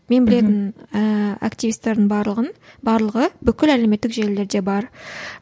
мен білетін ііі активистердің барлығын барлығы бүкіл әлеуметтік желілерде бар